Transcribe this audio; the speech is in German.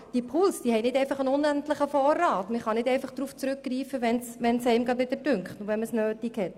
Diese Pools sind nicht unendlich, man kann nicht einfach auf sie zurückgreifen, wenn man es nötig hat.